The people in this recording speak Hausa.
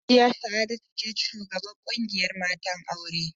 Hajiya Sa'adatu ce shugabar ƙungiyar matan auren